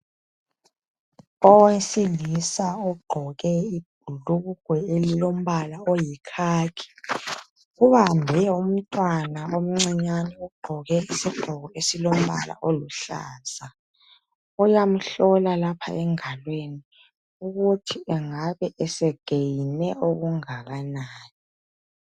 Owesilisa ogqoke ibhulugwa elilompala oyikhakhi ubambe umntwana omcinyane ogqoke izigqoko esilompala oluhlaza uyamhlola lapha engalweni ukuthi engabe esegeyine okungakanani.